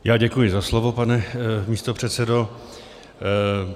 Já děkuji za slovo, pane místopředsedo.